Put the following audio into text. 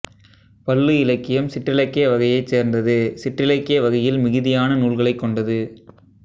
பள்ளு இலக்கியம் சிற்றிலக்கிய வகையை சேர்ந்தது சிற்றிலக்கிய வகையில் மிகுதியான நூல்களை கொண்டது